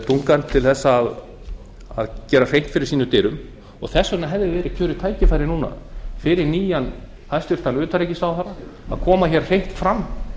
þungann til að gera hreint fyrir sínum dyrum og þess vegna hefði meira kjörið tækifæri núna fyrir nýjan hæstvirts utanríkisráðherra að koma hreint fram